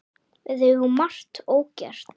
Við eigum margt ógert.